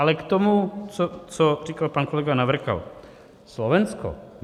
Ale k tomu, co říkal pan kolega Navrkal: Slovensko.